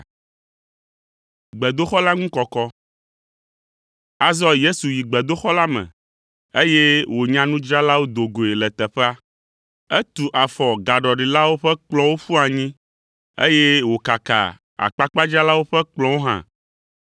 Azɔ Yesu yi gbedoxɔ la me, eye wònya nudzralawo do goe le teƒea. Etu afɔ gaɖɔlilawo ƒe kplɔ̃wo ƒu anyi, eye wòkaka akpakpadzralawo ƒe kplɔ̃wo hã.